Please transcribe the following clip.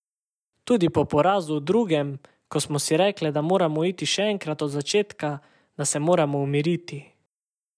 Tudi po porazu v drugem, ko smo si rekle, da moramo iti še enkrat od začetka, da se moramo umiriti.